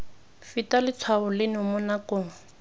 feta letshwao leno mo nakong